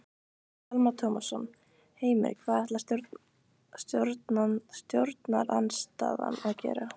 Telma Tómasson: Heimir hvað ætlar stjórnarandstaðan að gera?